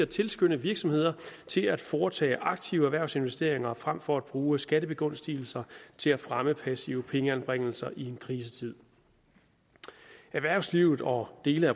tilskynde virksomheder til at foretage aktive erhvervsinvesteringer frem for at bruge skattebegunstigelser til at fremme passive pengeanbringelser i en krisetid erhvervslivet og dele